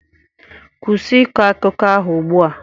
Kwụsị ịkọ akụkọ ahụ ugbu a.